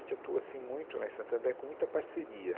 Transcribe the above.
atua assim muito lá em Santander, com muita parceria.